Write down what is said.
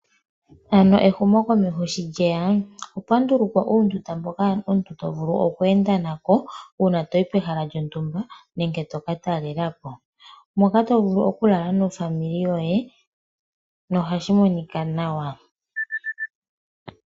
Ehumokomeho shi lye ya okwa ndulukwa uundunda mboka omuntu to vulu oku enda nako uuna toyi pehala lyontumba nenge to ka talela po, moka to vulu oku lala nofamili yoye nohashi monika nawa.